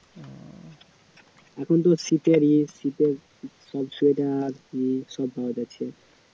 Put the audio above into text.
এখন তো শীতের ইয়ে শীতের সব সোয়েটারে সব পাওয়া যাচ্ছে